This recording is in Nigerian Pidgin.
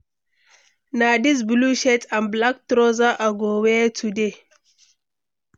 Na this blue shirt and black trousers i go wear today.